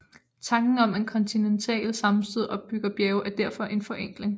Tanken om at kontinentale sammenstød opbygger bjerge er derfor en forenkling